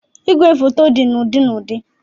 Ìgwè foto dị na ụdị na ụdị.